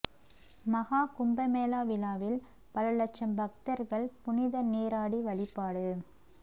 மகா கும்பமேளா விழாவில் பல லட்சம் பக்தர்கள் புனித நீராடி வழிபாடு